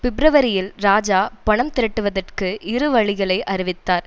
பிப்பிரவரியில் இராஜா பணம் திரட்டுவதற்கு இரு வழிகளை அறிவித்தார்